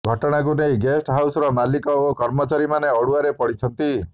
ଘଟଣାକୁ ନେଇ ଗେଷ୍ଟ ହାଉସର ମାଲିକ ଓ କର୍ମଚାରୀମାନେ ଅଡୁଆରେ ପଡିଛନ୍ତି